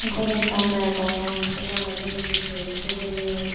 ghar ekkan degong se loge sibe he guluk hejeni.